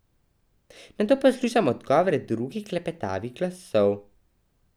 Nato poslušam odgovore drugih klepetavih glasov.